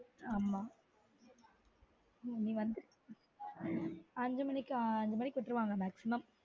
ஆமா இங்க வந்து அஞ்சு மணிக்கு அஞ்சு மணிக்கு விட்டுருவாங்க maximum